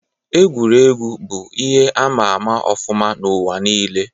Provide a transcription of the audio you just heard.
Egwuregwu bụ ihe ama ama ọfụma n'ụwa nile